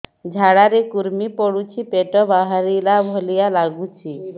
ଝାଡା ରେ କୁର୍ମି ପଡୁଛି ପେଟ ବାହାରିଲା ଭଳିଆ ଲାଗୁଚି